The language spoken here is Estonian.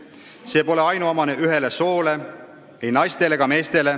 See pole ainuomane ühele soole, ei naistele ega meestele.